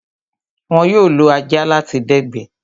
Wón yóò lo ajá láti dẹ̀gbẹ́